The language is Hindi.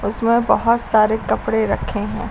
उसमें बहुत सारे कपड़े रखे हैं।